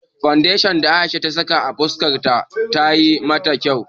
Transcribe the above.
Fandeshan da Aisha ta saka a fuskar ta tayi mata kyau.